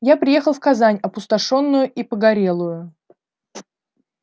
я приехал в казань опустошённую и погорелую